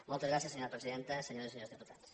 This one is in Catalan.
moltes gràcies senyora presidenta senyores i senyors diputats